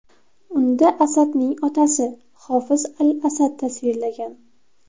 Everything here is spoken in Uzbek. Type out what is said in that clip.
Unda Asadning otasi, Hofiz al-Asad tasvirlagan.